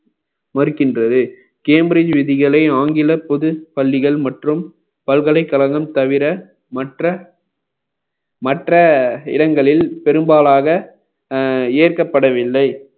மறுக்கின்றது cambridge விதிகளை ஆங்கில பொது பள்ளிகள் மற்றும் பல்கலைக்கழகம் தவிர மற்ற மற்ற இடங்களில் பெரும்பாலாக அஹ் இயக்கப்படவில்லை